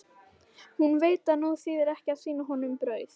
Hún veit að nú þýðir ekki að sýna honum brauð.